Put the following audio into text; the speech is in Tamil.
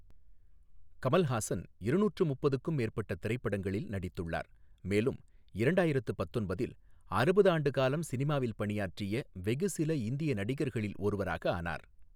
கமல்ஹாசன் இருநூற்று முப்பதுக்கும் மேற்பட்ட திரைப்படங்களில் நடித்துள்ளார், மேலும் இரண்டாயிரத்து பத்தொன்பதில் அறுபது ஆண்டு காலம் சினிமாவில் பணியாற்றிய வெகு சில இந்திய நடிகர்களில் ஒருவராக ஆனார்.